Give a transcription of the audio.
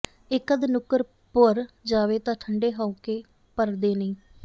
ਇੱਕ ਅੱਧ ਨੁੱਕਰ ਭੁਰ ਜਾਵੇ ਤਾਂ ਠੰਢੇ ਹਾਉਕੇ ਭਰਦੇ ਨਹੀਂ